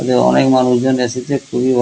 এখানে অনেক মানুষজন এসেছে খুবই ভাল--